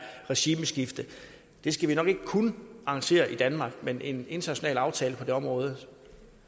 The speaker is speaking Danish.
regimeskifte det skal vi nok ikke kun arrangere i danmark men en international aftale på det område